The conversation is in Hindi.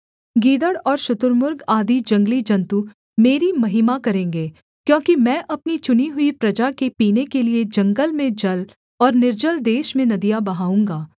गीदड़ और शुतुर्मुर्ग आदि जंगली जन्तु मेरी महिमा करेंगे क्योंकि मैं अपनी चुनी हुई प्रजा के पीने के लिये जंगल में जल और निर्जल देश में नदियाँ बहाऊँगा